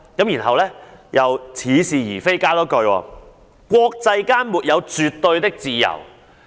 然後她又似是而非地補充一句，指"國際間沒有絕對的自由"。